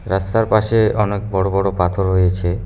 রাস্তার পাশে অনেক বড় বড় পাথর হয়েছে।